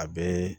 A bɛ